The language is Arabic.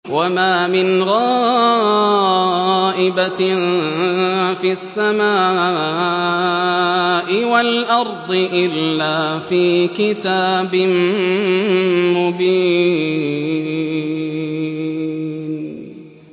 وَمَا مِنْ غَائِبَةٍ فِي السَّمَاءِ وَالْأَرْضِ إِلَّا فِي كِتَابٍ مُّبِينٍ